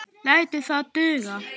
Lætur það duga.